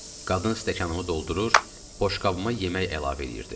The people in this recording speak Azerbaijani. Qadın stəkanımı doldurur, boşqabıma yemək əlavə eləyirdi.